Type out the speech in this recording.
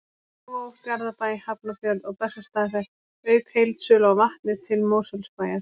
Kópavog, Garðabæ, Hafnarfjörð og Bessastaðahrepp, auk heildsölu á vatni til Mosfellsbæjar.